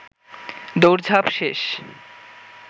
দৌঁড়ঝাপ শেষ